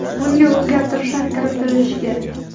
Bunga o‘zgartishlar kiritilishi kerak.